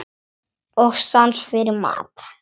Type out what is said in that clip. Og sans fyrir mat.